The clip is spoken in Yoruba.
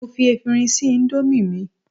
mo fi efirin se Indomie mi